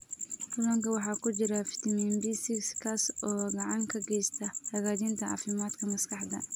Kalluunka waxaa ku jira fitamiin B6 kaas oo gacan ka geysta hagaajinta caafimaadka maskaxda.